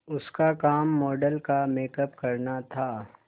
उसका काम मॉडल का मेकअप करना था